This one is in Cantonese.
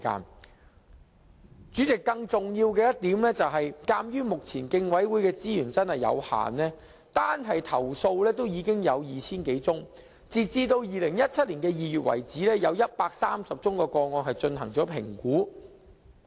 代理主席，更重要的一點，是目前競委會的資源實在有限，單是投訴已有 2,000 多宗，而截至2017年2月，有130宗個案已進行評估。